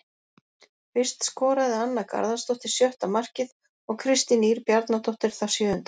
Fyrst skoraði Anna Garðarsdóttir sjötta markið og Kristín Ýr Bjarnadóttir það sjöunda.